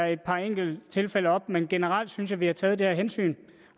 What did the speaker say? et par enkelte tilfælde tager op men generelt synes jeg at vi har taget det her hensyn